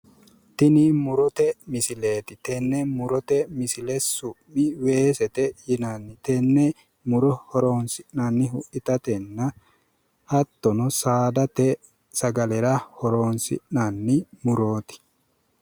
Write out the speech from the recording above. tini murote misileeti tenne murote misile su'mi weesete yinanni tenne muro horonsi'nanihu itatenna hattono saadate sagalera hironsi'nanni murooti